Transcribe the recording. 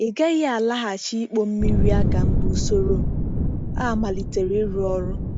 Ị gaghị alaghachi ịkpọ mmiri aka mgbe usoro a malitere ịrụ ọrụ.